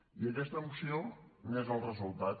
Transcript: i aquesta moció n’és el resultat